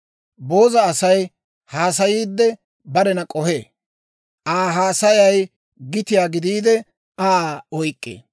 Booza asay, haasayiidde barena k'ohee; Aa haasayay gitiyaa gidiide, Aa oyk'k'ee.